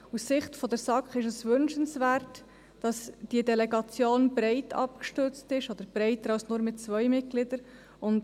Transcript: Aus Sicht der SAK ist es wünschenswert, dass diese Delegation breit abgestützt ist, oder breiter als nur mit zwei Mitgliedern.